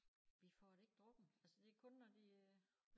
Vi får det ikke drukket altså det kun når de øh